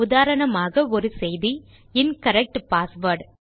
உதாரணமாக ஒரு எர்ரர் செய்தி இன்கரெக்ட் பாஸ்வேர்ட்